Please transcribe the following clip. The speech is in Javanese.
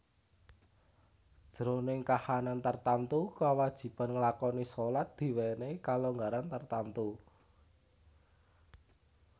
Jroning kahanan tartamtu kawajiban nglakoni shalat diwènèhi kalonggaran tartamtu